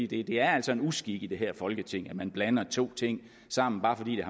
det er altså en uskik i det her folketing at man blander to ting sammen bare fordi de